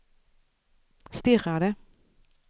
stirrade